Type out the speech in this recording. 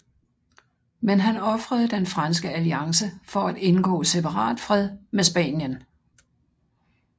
Men han ofrede den franske alliance for at indgå separatfred med Spanien